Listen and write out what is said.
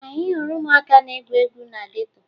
Anyị hụrụ ụmụaka na-egwu egwu na geto